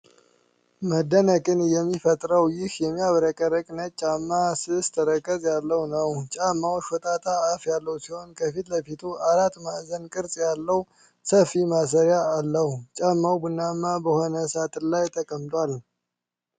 መደነቅን የሚፈጥረው ይህ የሚያብረቀርቅ ነጭ ጫማ፣ ስስ ተረከዝ ያለው ነው። ጫማው ሾጣጣ አፍ ያለው ሲሆን፣ ከፊት ለፊት አራት ማዕዘን ቅርጽ ያለው ሰፊ ማሰሪያ አለው። ጫማው ቡናማ በሆነ ሳጥን ላይ ተቀምጧል።